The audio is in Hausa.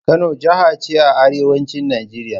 Kano jaha ce a arewacin Najeriya.